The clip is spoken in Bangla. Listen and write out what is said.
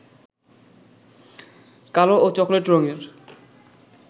কালো ও চকোলেট রঙের